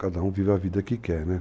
Cada um vive a vida que quer, né?